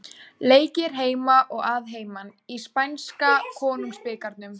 Leikið er heima og að heiman í spænska konungsbikarnum.